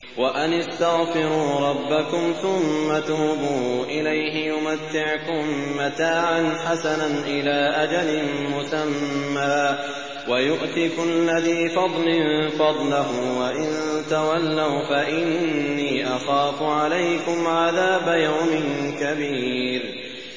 وَأَنِ اسْتَغْفِرُوا رَبَّكُمْ ثُمَّ تُوبُوا إِلَيْهِ يُمَتِّعْكُم مَّتَاعًا حَسَنًا إِلَىٰ أَجَلٍ مُّسَمًّى وَيُؤْتِ كُلَّ ذِي فَضْلٍ فَضْلَهُ ۖ وَإِن تَوَلَّوْا فَإِنِّي أَخَافُ عَلَيْكُمْ عَذَابَ يَوْمٍ كَبِيرٍ